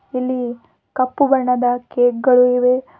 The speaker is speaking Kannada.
ಇಲ್ಲಿ ಕಪ್ಪು ಬಣ್ಣದ ಕೇಕ್ ಗಳು ಇವೆ.